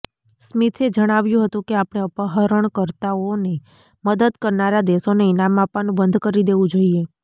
સ્મિથે જણાવ્યું હતું કે આપણે અપહરણકર્તાઓને મદદ કરનારા દેશોને ઈનામ આપવાનું બંધ કરી દેવું જોઈએ